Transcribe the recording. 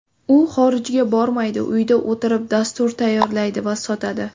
U xorijga bormaydi uyda o‘tirib, dastur tayyorlaydi va sotadi.